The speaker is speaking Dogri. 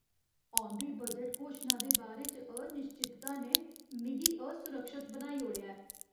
औंदी बजट घोशना दे बारे च अनिश्चितता ने मिगी असुरक्षत बनाई ओड़ेआ ऐ।